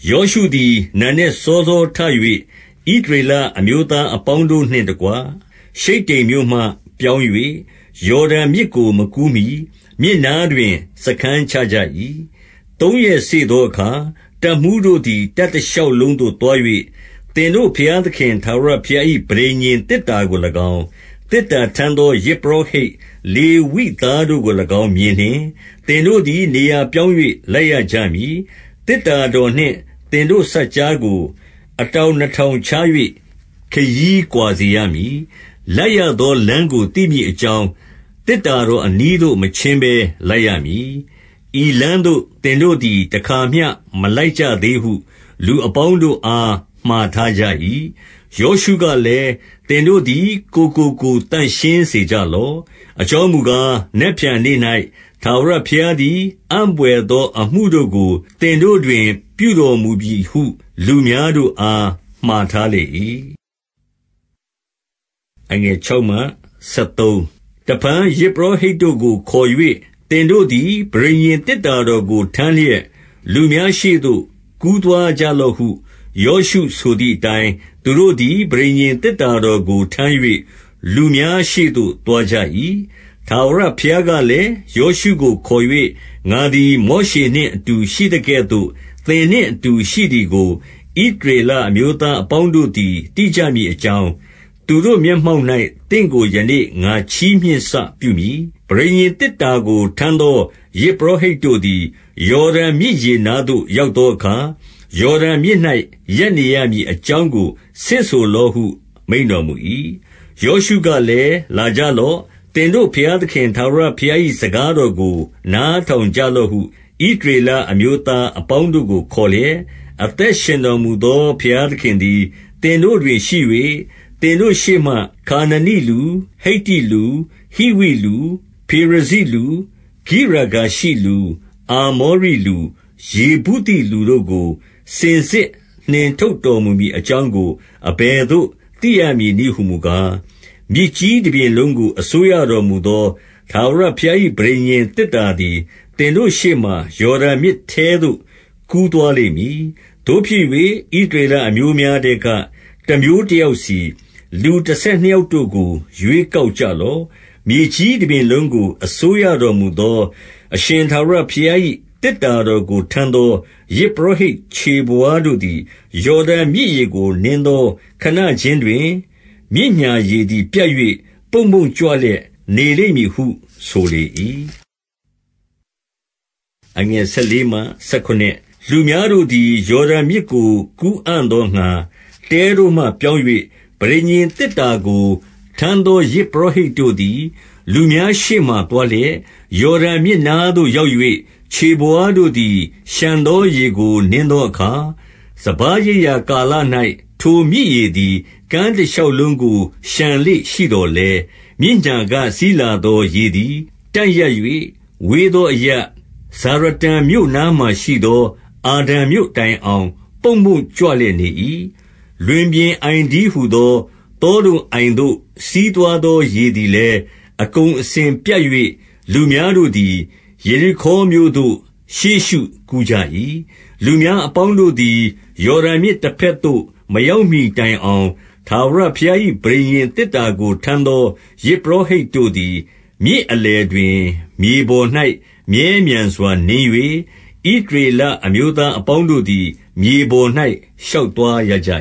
ယောရှုသည် နံနက်စောစောထ၍ ဣသရေလ အမျိုးသားအပေါင်းတို့နှင့်တကွ ရှိတ္တိမ်မြို့မှပြောင်း၍ ယော်ဒန်မြစ်ကို မကူးမှီ မြစ်နားတွင် စားခန်းချကြ၏။ 2 သုံးရက်စေ့သောအခါ၊ တပ်မှူးတို့သည် တပ်တ ရှောက်လုံးသို့သွား၍၊ 3 သင်တို့ဘုရားသခင် ထာဝရဘုရား၏ ပဋိညာဉ် သေတ္တာကို၎င်း၊ သေတ္တာထမ်းသော ယဇ်ပုရောဟိတ် လေဝိသားတို့ကို၎င်း မြင်လျှင်၊ သင်တို့သည် နေရာ ပြောင်း၍ လိုက်ရကြမည်။ 4 သေတ္တာတော်နှင့် သင်တို့စပ်ကြားကို အတောင် နှစ်ထောင်ခြား၍ ခရီးကွာစေရမည်။ လိုက်ရသောလမ်း ကို သိမည်အကြောင်း၊ သေတ္တာတော်အနီးသို့ မချဉ်းဘဲ လိုက်ရမည်။ ဤလမ်းသို့ သင်တို့သည် တခါမျှမလိုက်ကြ သေးဟု လူအပေါင်းတို့အား မှာထားကြ၏။ 5 ယောရှုကလည်း၊ သင်တို့သည် ကိုယ်ကိုကိုယ် သန့်ရှင်းစေကြလော့။ အကြောင်းမူကား၊ နက်ဖြန်နေ့၌ ထားဝရဘုရားသည် အံ့ဘွယ်သောအမှုတို့ကို သင်တို့တွင် ပြုတော်မူမည်ဟု လူများတို့အား မှာထားလေ၏။ 6 တဖန် ယဇ်ပုရောဟိတ်တို့ကို ခေါ်၍ သင်တို့ သည် ပဋိညာဉ်သေတ္တာတော်ကို ထမ်းလျက်၊ လူများရှေ့ သို့ကူးသွားကြလော့ဟု ယောရှုဆိုသည့်အတိုင်း သူတို့သည် ပဋိညာဉ်သေတ္တာတော် ကိုထမ်း၍လူများရှေ့သို့ သွားကြ၏။ 7 ထာဝရဘုရားကလည်း၊ ယောရှုကိုခေါ်၍ ငါသည် မောရှေနှင့်အတူရှိသကဲ့သို့ သင်နှင့်အတူရှိသည် ကို ဣသရေလအမျိုးသားအပေါင်းတို့သည် သိကြမည် အကြောင်း၊ သူတို့မျက်မှောက်၌ သင့်ကို ယနေ့ ငါချီးမြှင့် စပြုမည်။ 8 ပဋိညာဉ်သေတ္တာကို ထမ်းသော ယဇ်ပုရော ဟိတ်တို့သည်၊ ယော်ဒန်မြစ်ရေနားသို့ ရောက်သောအခါ၊ ယော်ဒန်မြစ်၌ ရပ်နေရမည်အကြောင်းကို ဆင့်ဆိုလော့ဟု မိန့်တော်မူ၏။ 9 ယောရှုကလည်း၊ လာကြလော့။ သင်တို့ဘုရား သခင် ထာဝရဘုရား၏ စကားတော်ကို နားထောင်ကြ လော့ဟု ဣသရေလအမျိုးသား အပေါင်းတို့ကို ခေါ်လျက်၊ 10 အသက်ရှင်တော်မူသော ဘုရားသခင်သည် သင်တို့တွင်ရှိ၍၊ သင်တို့ရှေ့မှ ခါနနိလူ၊ ဟိတ္တိလူ၊ ဟိဝိလူ၊ ဖေရဇိလူ၊ ဂိရဂါရှိလူ၊ အာမောရိလူ၊ ယေဗုသိလူတို့ကို စင်စစ်နှင်ထုတ်တော်မူမည် အကြောင်းကို အဘယ်သို့ သိရမည်နည်းဟူမူကား၊ 11 မြေကြီးတပြင်လုံးကို အစိုးရတော်မူသော ထာဝရ ဘုရား၏ ပဋိညာဉ်သေတ္တာသည် သင်တို့ရှေ့မှာ၊ ယော်ဒန် မြစ်ထဲသို့ကူးသွားလိမ့်မည်။ 12 သို့ဖြစ်၍ ဣသရေလအမျိုးများထဲက တမျိုးတ ယောက်စီ၊ လူတဆယ်နှစ်ယောက်တို့ကို ရွေးကောက်ကြ လော့။ 13 မြေကြီးတပြင်လုံးကို အစိုးရတော်မူသော အရှင် ထာဝရဘုရား၏ သေတ္တာတော်ကိုထမ်းသော ယဇ်ပုရော ဟိတ်ခြေဘဝါးတို့သည်၊ ယော်ဒန်မြစ်ရေကို နင်းသော ခဏခြင်းတွင်၊ မြစ်ညာရေသည် ပြတ်၍ ပုံ့ပုံ့ကြွလျက် နေလိမ့်မည်ဟု ဆိုလေ၏။ 14 လူများတို့သည် ယော်ဒန်မြစ်ကို ကူးအံ့သောငှါ၊ တဲတို့မှပြောင်း၍ ပဋိညာဉ်သေတ္တာကို ထမ်းသောယဇ် ပုရောဟိတ်တို့သည် လူများရှေ့မှာသွားလျက်၊ 15 ယော်ဒန်မြစ်နားသို့ရောက်၍ ခြေဘဝါးတို့သည် လျှံသောရေကို နင်းသောအခါ၊ စပါးရိတ်ရာကာလ၌ ထိုမြစ်ရေသည် ကမ်းတရှောက်လုံးကို လျှံလေ့ရှိသော် လည်း၊ 16 မြစ်ညာက စီးလာသောရေသည် တန့်ရပ်၍ ဝေးသောအရပ်၊ ဇာရတန်မြို့နားမှာရှိသော အာဒံမြို့တိုင် အောင် ပုံ့ပုံ့ကြွလျက်နေ၏။ လွင်ပြင်အိုင်တည်းဟူသော သောဒုံအိုင်သို့ စီးသွားသောရေသည်လည်း အကုန်အစင် ပြတ်၍၊ လူများတို့သည် ယေရိခေါမြို့သို့ ရှေ့ရှုကူးကြ၏။ 17 လူများအပေါင်းတို့သည် ယော်ဒန်မြစ်တဘက် သို့ မရောက်မှီတိုင်အောင် ထာဝရဘုရား၏ ပဋိညာဉ် သေတ္တာကို ထမ်းသော ယဇ်ပုရောဟိတ်တို့သည်၊ မြစ် အလယ်တွင် မြေပေါ်၌ မြဲမြံစွာနင်း၍၊ ဣသရေလအမျိုး သားအပေါင်းတို့သည် မြေပေါ်၌ ရှောက်သွားရကြ